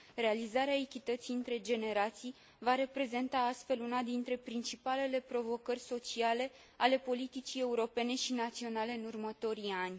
Realizarea echității între generații va reprezenta astfel una dintre principalele provocări sociale ale politicii europene și naționale în următorii ani.